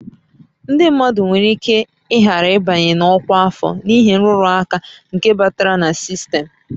Ndị mmadụ nwere ike ghara ịbanye na ọkwa afọ n'ihi nrụrụ aka nke batara na sistemụ